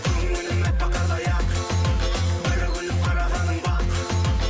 көңілім әппақ қардай ақ бір күліп қарағаның бақ